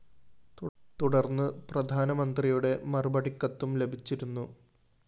തുടര്‍ന്ന് പ്രധാനമന്ത്രിയുടെ മറുപടി കത്തും ലഭിച്ചിരുന്നു